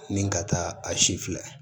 Ni ka taa a si filɛ